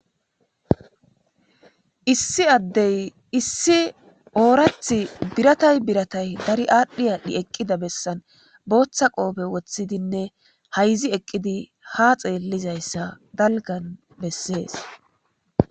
issi addey issi oorath biratay biratay dari aadhdhi aadhdhi eqqida bessan booththa qoobe woththidinne hayzi eqqidi ha xeellizayssa dalgan bessees